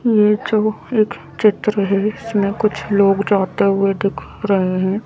ये जो एक चित्र है इसमें कुछ लोग जाते हुए दिखा रहे है।